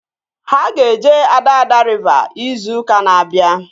Ha ga-eje Adada riva izu ụka na-abịa